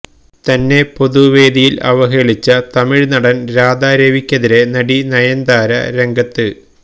തന്നെ പൊതുവേദിയില് അവഹേളിച്ച തമിഴ് നടന് രാധാ രവിക്കെതിരെ നടി നയന്താര രംഗത്ത്